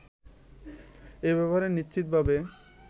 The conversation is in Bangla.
এ ব্যাপারে নিশ্চিতভাবে